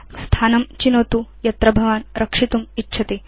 स्थानं चिनोतु यत्र भवान् रक्षितुम् इच्छति